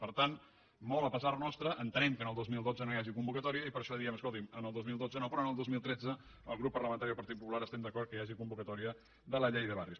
per tant molt a pesar nostre en·tenem que el dos mil dotze no hi hagi convocatòria i per això diem escolti’m el dos mil dotze no però el dos mil tretze el grup par·lamentari del partit popular estem d’acord que hi hagi convocatòria de la llei de barris